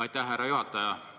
Aitäh, härra juhataja!